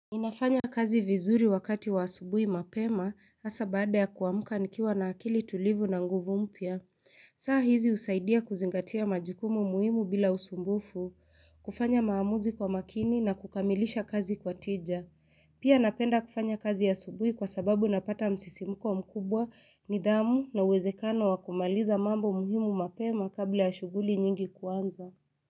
Inafanya kazi vizuri wakati wa asubuhi mapema hasa baada ya kuamka nikiwa na akili tulivu na nguvu mpya saa hizi husaidia kuzingatia majukumu muhimu bila usumbufu, kufanya maamuzi kwa makini na kukamilisha kazi kwa tija. Pia napenda kufanya kazi asubuhi kwa sababu napata msisimuko mkubwa nidhamu na uwezekano wa kumaliza mambo muhimu mapema kabla ya shughuli nyingi kuanza.